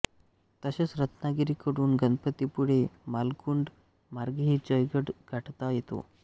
तसेच रत्नागिरी कडून गणपतीपुळे मालगुंड मार्गेही जयगड गाठता येतो